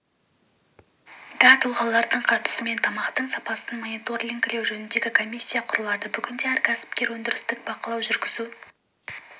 да тұлғалардың қатысуымен тамақтың сапасын мониторингілеу жөніндегі комиссия құрылады бүгінде әр кәсіпкер өндірістік бақылау жүргізу